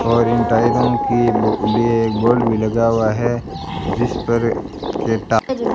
और इन टायरों की बो लीए एक बोल्ट भी लगा हुआ है जिस पर के टा--